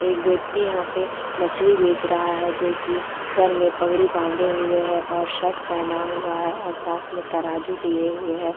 एक व्यक्ति यहाँ पे मछली बेच रहा है जोकि सर में पगड़ी बांधे हुए है और शर्ट पहना हुआ है और साथ में तराजू लिये हुए हैं ।